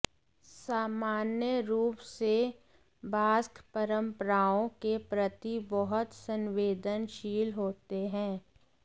सामान्य रूप से बास्क परंपराओं के प्रति बहुत संवेदनशील होते हैं